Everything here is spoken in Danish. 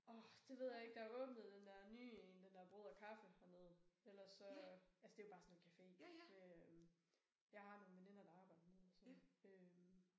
Åh det ved jeg ikke der er åbnet den der nye en den der brød og kaffe dernede ellers så altså det jo bare sådan en café med øh jeg har nogle veninder der arbejder dernede så øh